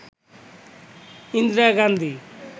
Indira Gandhi